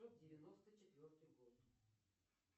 девяносто четвертый год